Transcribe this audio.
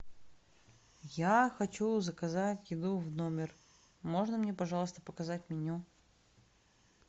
я хочу заказать еду в номер можно мне пожалуйста показать меню